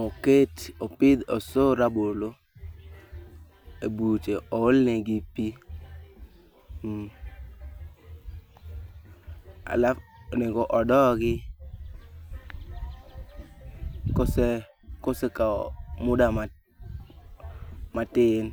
,oket opidh, osoo rabolo ebuche ool negi pii. Mm halaf, onego odogi kosekawo muda matin.